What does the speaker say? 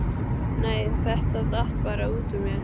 Nei, þetta datt bara út úr mér.